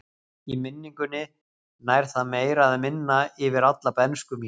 Í minningunni nær það meira eða minna yfir alla bernsku mína.